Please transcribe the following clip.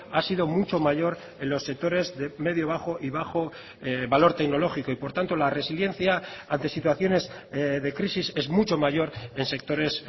ha sido mucho mayor en los sectores de medio bajo y bajo valor tecnológico y por tanto la resiliencia ante situaciones de crisis es mucho mayor en sectores